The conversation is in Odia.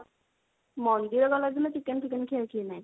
ମନ୍ଦିର ଗଲା ଦିନ chicken ଫିକେନ ଖିଆ ଖୀ ନାଇଁ